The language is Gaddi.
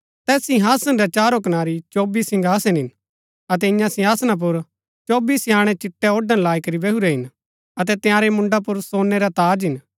तैस सिंहासन रै चारो कनारी चौबी सिंहासन हिन अतै ईयां सिंहासन पुर चौबी स्याणै चिट्टै ओड़ण लाई करी बैहुरै हिन अतै तंयारै मुंडा पुर सोनै रै ताज हिन